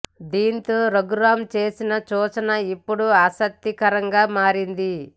దీంతో రఘురామ చేసిన సూచన ఇప్పుడు ఆసక్తి కరంగా మారింది